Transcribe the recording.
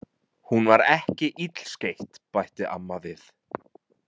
Hún var ekki illskeytt, bætti amma við.